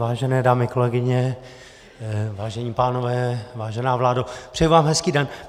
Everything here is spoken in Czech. Vážené dámy, kolegyně, vážení pánové, vážená vládo, přeji vám hezký den.